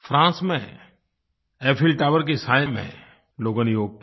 France में Eiffel tower के साये में लोगों ने योग किया